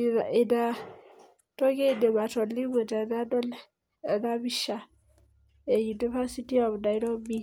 Ina toki aidim atolimu tenadol ena pisha e university of Nairobi.